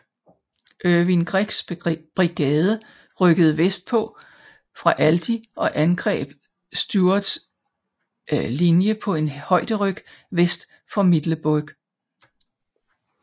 Irvin Greggs brigade rykkede vestpå fra Aldie og angreb Stuarts linjee på en højderyg vest for Middleburg